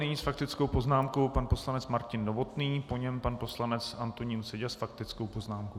Nyní s faktickou poznámkou pan poslanec Martin Novotný, po něm pan poslanec Antonín Seďa s faktickou poznámkou.